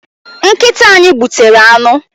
Nkịta anyị gbutere anụ.